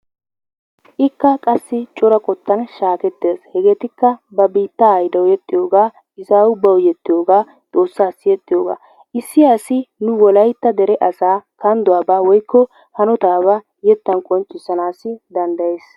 Ikka qassi cora qottaan shaeeketees. hegetikka ba biittaw yeexxiyoogaa izzawu bawu yeexiyoogaa xoossaasi yeexxiyoogaa. issi iasi wolaytta dere asaa kandduwaabaa woykko hanotabaa yeettaan qonccisanassi danddayyees.